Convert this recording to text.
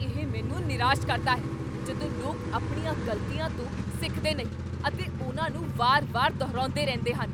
ਇਹ ਮੈਨੂੰ ਨਿਰਾਸ਼ ਕਰਦਾ ਹੈ ਜਦੋਂ ਲੋਕ ਆਪਣੀਆਂ ਗ਼ਲਤੀਆਂ ਤੋਂ ਸਿੱਖਦੇ ਨਹੀਂ ਅਤੇ ਉਨ੍ਹਾਂ ਨੂੰ ਵਾਰ ਵਾਰ ਦੁਹਰਾਉਂਦੇ ਰਹਿੰਦੇ ਹਨ